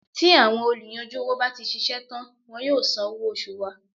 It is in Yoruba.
Tí àwọn olùyanjú owó bá ti ṣiṣẹ́ tán wọn yóò san owó oṣù wa.